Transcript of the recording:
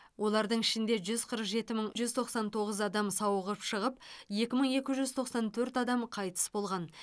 олардың ішінде жүз қырық жеті мың жүз тоқсан тоғыз адам сауығып шығып екі мың екі жүз тоқсан төрт адам қайтыс болған